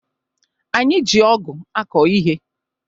Anyị ji ọgụ̀ akọ ihe.